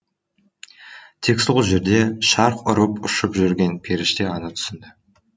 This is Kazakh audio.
тек сол жерде шарқ ұрып ұшып жүрген періште ғана түсінді